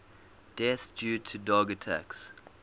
deaths due to dog attacks